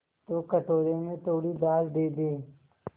तो कटोरे में थोड़ी दाल दे दे